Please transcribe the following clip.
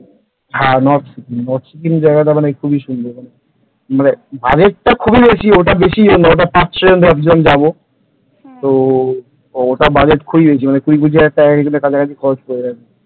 হ্যাঁ north Sikkim north Sikkim জায়গাটা খুব সুন্দর মানে budget টা খুবই বেশি কিন্তু ওটা পাঁচ ছয় জন ভাবছিলাম যাব তো ওটা বাজেট খুবই বেশি কুড়ি-পঁচিশ হাজার টাকার কাছাকাছি পড়ে যাবে।